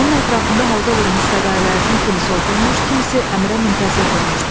Onun ətrafında halqa vurmuş fədaillərdən kimisi oturmuş, kimisi əmrə müntəzir durmuşdu.